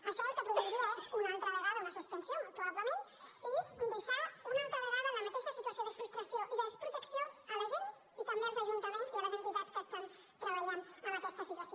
això el que produiria és una altra vegada una suspensió molt probablement i deixar una altra vegada en la mateixa situació de frustració i de desprotecció la gent i també els ajuntaments i les entitats que estan treballant en aquesta situació